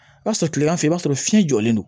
I b'a sɔrɔ tilegan fɛ i b'a sɔrɔ fiɲɛ jɔlen don